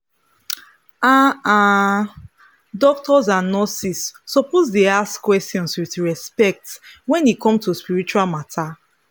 ah ah doctors and nurses suppose dey ask questions with respect wen e come to spiritual matter.